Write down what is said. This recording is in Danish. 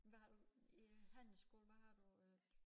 Hvad har du i handelsskole hvad har du øh